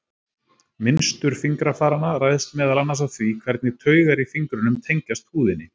Mynstur fingrafaranna ræðst meðal annars af því hvernig taugar í fingrunum tengjast húðinni.